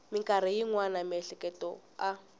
mikarhi yin wana miehleketo a